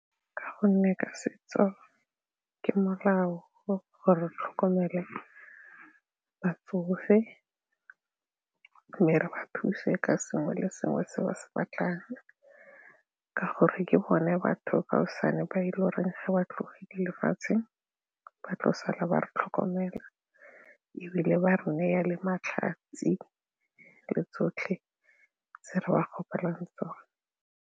Ka gonne ke setso ke molao gore re tlhokomele batsofe mme re thuse ka sengwe le sengwe se ba se batlang ka gore ke bone batho kaosane ba e le goreng ga ba tlogile lefatshe ba tla sala ba re tlhokomela ebile ba re neya le matlhatsi le tsotlhe tse re ba kgopelang tsone.